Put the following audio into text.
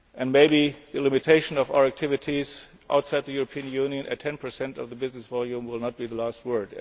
impact. Maybe the limiting of our activities outside the European Union to 10 of the business volume will not be the last